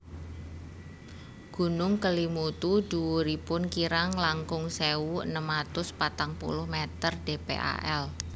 Gunung Kelimutu dhuwuripun kirang langkung sewu enem atus patang puluh meter dpal